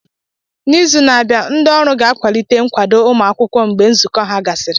N'izu na-abịa, ndị ọrụ ga-akwalite nkwado ụmụ akwụkwọ mgbe nzukọ ha gasịrị.